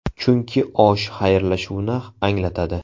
Chunki osh xayrlashuvni anglatadi.